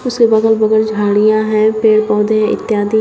उसके अगल बगल झड़ियां है पेड़ पौधे इत्यादि।